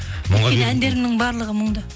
әндерімнің барлығы мұңды